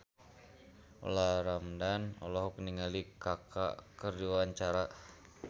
Olla Ramlan olohok ningali Kaka keur diwawancara